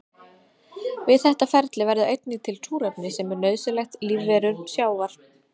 Við þetta ferli verður einnig til súrefni sem er nauðsynlegt lífverum sjávar.